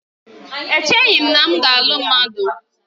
Echeghị m na m ga-alụ mmadụ